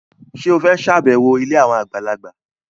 Ṣé o fẹ́ ṣàbẹ̀wọ̀ ilé àwọn àgbàlagbà?